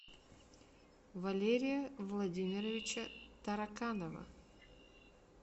валерия владимировича тараканова